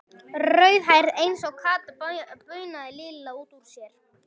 Rauðhærð eins og Kata, bunaði Lilla út úr sér.